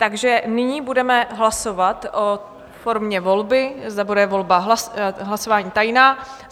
Takže nyní budeme hlasovat o formě volby, zda bude volba hlasování tajná.